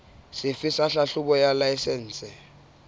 sefe sa tlhahlobo ya laesense